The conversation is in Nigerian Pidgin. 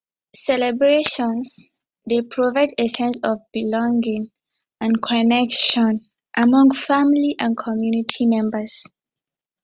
celebrations dey provide a sense of belonging and connection among family and community members